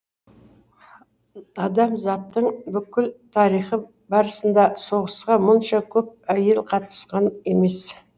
адамзаттың бүкіл тарихы барысында соғысқа мұнша көп әйел қатысқан емес